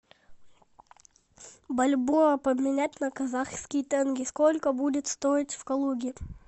бальбоа поменять на казахские тенге сколько будет стоить в калуге